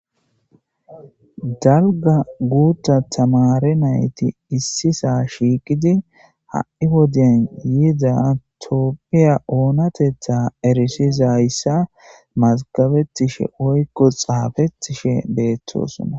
dalga guutta tamare nayti issisaa shiiqidi ha7i wodeyan yiida toopphiya oonatetha erisiza hayssa masgabettishe oykko xaafettishe beettosonna